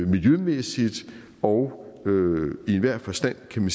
miljømæssigt og i enhver forstand kan vi